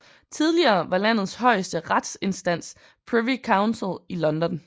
Tidligere var landets højeste retsinstans Privy Council i London